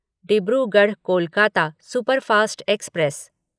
Dibrugarh Kolkata superfast express